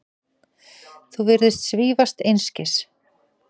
Þú virðist svífast einskis.